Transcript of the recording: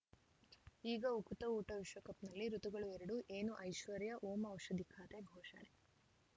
ಈಗ ಉಕುತ ಊಟ ವಿಶ್ವಕಪ್‌ನಲ್ಲಿ ಋತುಗಳು ಎರಡು ಏನು ಐಶ್ವರ್ಯಾ ಓಂ ಔಷಧಿ ಖಾತೆ ಘೋಷಣೆ